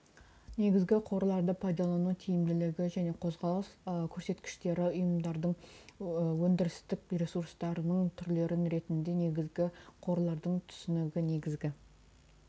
негізгі қорларды пайдалану тиімділігі және қозғалыс көрсеткіштері ұйымдардың өндірістік ресурстарының түрлері ретінде негізгі қорлардың түсінігі негізгі